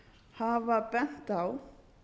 hafa bent á